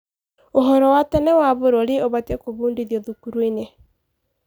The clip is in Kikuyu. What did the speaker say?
ũhoro wa tene wa bũrũri ũbatiĩ gũbundithio thukuru-inĩ.